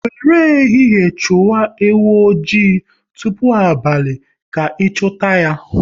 Wéré ehihie chụwa ewu oji, tụpụ abalị ka ị chuta ya